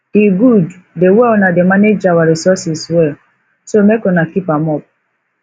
e good the way una dey manage our resources well so make una keep am up